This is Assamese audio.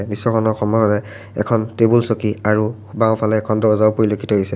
দৃশ্যখনৰ সমৰৰে এখন টেবুল চকী আৰু বাওঁফালে এখন দৰ্জাও পৰিলক্ষিত হৈছে।